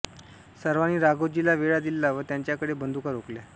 सर्वांनी राघोजीला वेढा दिला व त्याच्याकडे बंदुका रोखल्या